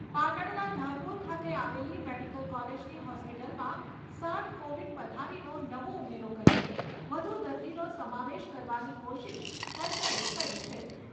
પાટણના ધારપૂર ખાતે આવેલી મેડિકલ કોલેજની હોસ્પિટલમાં સાઈઠ કોવિડ પથારીનો નવો ઉમેરો કરીને વધુ દર્દીનો સમાવેશ કરવાની કોશિશ તંત્રએ કરી છે.